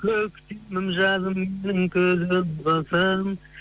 көктемім жазымбысың күзім қысым